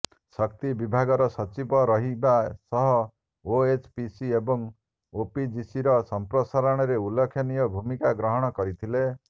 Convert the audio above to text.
ଶକ୍ତି ବିଭାଗର ସଚିବ ରହିବା ସହ ଓଏଚପିସି ଏବଂ ଓପିଜିସି ର ସଂପ୍ରସାରଣରେ ଉଲ୍ଲେଖନୀୟ ଭୂମିକା ଗ୍ରହଣ କରିଥିଲେ